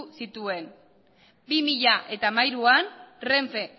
zituen bi mila hamairuean renfe